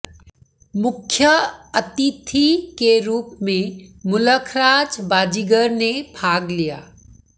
मुख्य अतिथि के रूप में मुलखराज बाजीगर ने भाग लिया